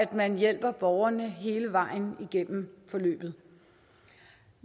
man hjælper borgerne hele vejen igennem forløbet